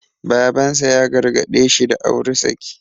Baban sa ya gargaɗe shi da auri saki.